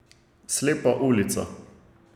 Slepa ulica.